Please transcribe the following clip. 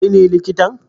Kai ne likitan?